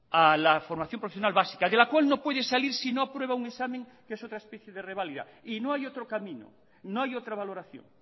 a la formación profesional básica de la cual no puede salir si no aprueba un examen que es otra especie de reválida y no hay otro camino no hay otra valoración